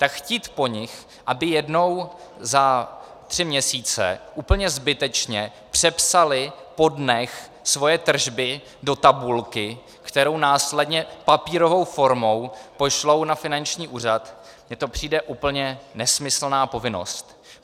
Tak chtít po nich, aby jednou za tři měsíce úplně zbytečně přepsali po dnech svoje tržby do tabulky, kterou následně papírovou formou pošlou na finanční úřad, mně to přijde úplně nesmyslná povinnost.